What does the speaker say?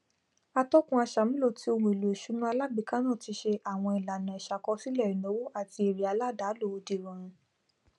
atọkùn aṣàmúlò tí ohúnèlò ìsúná alágbèéká náà tí se àwọn ìlànà ìsàkọsílẹ ìnáwó àtí èrè aládàálò dìrọrùn